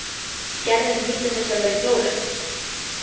Gerður nýtur þess að vera í Flórens.